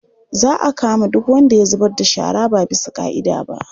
Za a kama duk wanda ya zubar da shara ba bisa ƙa'ida ba.